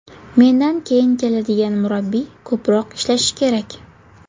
Mendan keyin keladigan murabbiy ko‘proq ishlashi kerak.